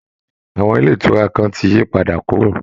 Àwọn ilé ìtura kan ti yí padà kúrò